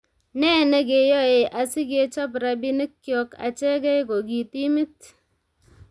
Nee ne keyoei asi kechob rabiinikcho achegei ko ki timit ?